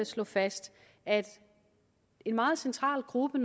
slå fast at en meget central gruppe